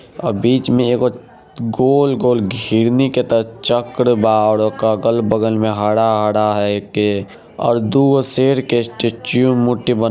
और बिचमे एगो गोल -गोल घिरनी के तरह चरकर ब और ओक अगल-बगल मे हरा-हरा है एके और दूर शेर स्टैचू है मूर्ति बना --